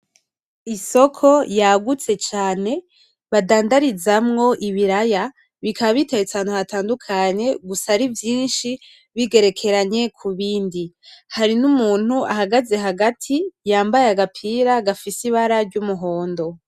Isoko yagutse cane badandarizamo ibiraya bikaba, biteretse ahantu hatandukanye gusa arivyinshi bigerekeranye kubindi. hariho umuntu ahagaze hagati yambaye agapira gafise ibara ry’umuhondo.